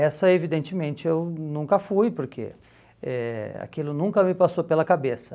Essa, evidentemente, eu nunca fui, porque eh aquilo nunca me passou pela cabeça.